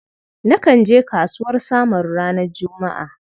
Nakan je kasuwar Samaru ranar Juma'a.